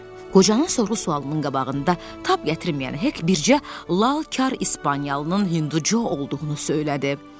Qocanın sorğu-sualının qabağında tab gətirməyən Hek bircə lalkar İspaniyalının Hindu Co olduğunu söylədi.